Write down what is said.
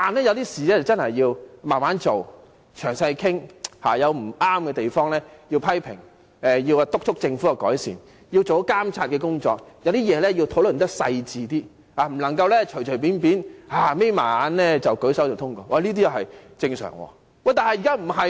有些事情真的要慢慢做，詳細討論，有不對的地方要批評，督促政府作出改善，做好監察的工作，對某些事情要討論得細緻一點，不能隨便閉上眼睛便舉手通過，這是正常的。